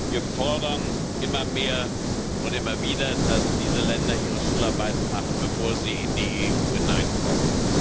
Wir fordern immer mehr und immer wieder, dass diese Länder ihre Schularbeiten machen, bevor sie in die EU hineinkommen.